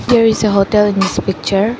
here is a hotel in this picture.